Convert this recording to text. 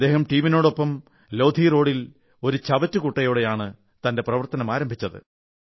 അദ്ദേഹം തന്റെ ടീമിനൊപ്പം ലോധി റോഡിൽ ഒരു ചവറ്റുകുട്ടയോടെയാണ് പ്രവർത്തനമാരംഭിച്ചത്